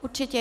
Určitě.